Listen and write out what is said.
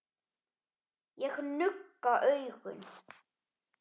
Ég nugga augun.